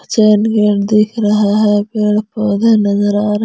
दिख रहा है पेड़ पौधे नजर आ रहा--